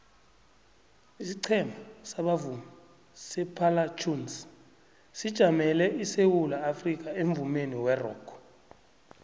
isiqhema sabavumi separlatones sijamele isewula afrikha emvumeni werock